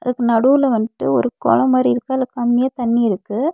அதுக்கு நடுவுல வன்ட்டு ஒரு கொளம் மாரி இருக்கு. அதுல கம்மியா தண்ணி இருக்கு.